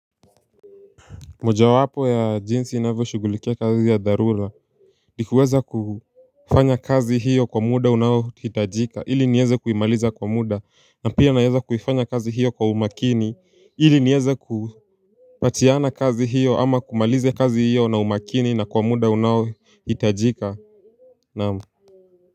Mojawapo ya jinsi ninavyoshugulikia kazi ya dharura nikuweza kufanya kazi hiyo kwa muda unaohitajika ili nieze kuimaliza kwa muda na pia naeza kufanya kazi hiyo kwa umakini ili nieze kupatiana kazi hiyo ama kumaliza kazi hiyo na umakini na kwa muda unaohitajika na.